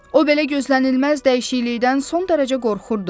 O belə gözlənilməz dəyişiklikdən son dərəcə qorxurdu.